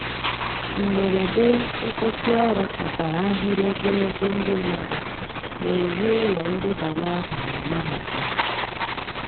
Mgberede nkwusi ọrụ kpatara ahịrị ogologo ndi madu n'ezi ụlọ ndebanye aha na mahadum